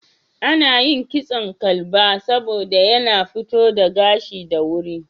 Ana yin kitson Kalba saboda yana tofo da gashi da wuri.